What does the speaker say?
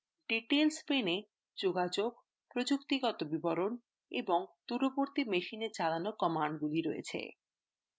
details pane এ যোগাযোগ প্রযুক্তিগত বিবরণ এবং দূরবর্তী machine চালানো কমান্ডগুলি রয়েছে